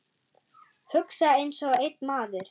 Hugsa einsog einn maður.